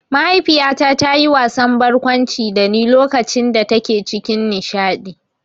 Mahaifiyata ta yi wasan barkwanci dani lokacin da take cikin nishaɗi